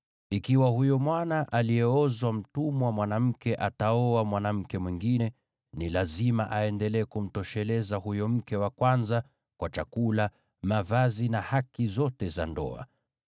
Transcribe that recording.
Ikiwa huyo mwana aliyeozwa mtumwa mwanamke ataoa mwanamke mwingine, ni lazima aendelee kumtosheleza huyo mke wa kwanza kwa chakula, mavazi na haki zote za ndoa.